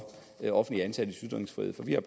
de offentligt ansattes ytringsfrihed for vi har